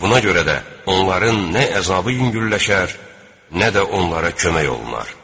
Buna görə də onların nə əzabı yüngülləşər, nə də onlara kömək olunar.